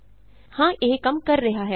ਹਾਂ ਇਹ ਕੰਮ ਕਰ ਰਿਹਾ ਹੈ